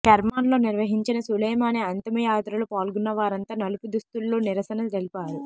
కెర్మాన్లో నిర్వహించిన సులేమానీ అంతిమయాత్రలో పాల్గొన్న వారంతా నలుపు దుస్తుల్లో నిరసన తెలిపారు